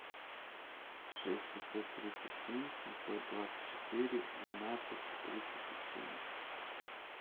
шесть пятьсот тридцать семь семьсот двадцать четыре двенадцать тридцать семь